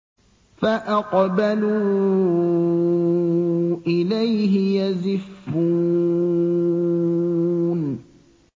فَأَقْبَلُوا إِلَيْهِ يَزِفُّونَ